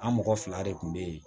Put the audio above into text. An mɔgɔ fila de kun be yen